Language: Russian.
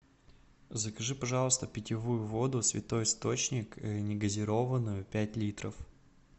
закажи пожалуйста питьевую воду святой источник негазированную пять литров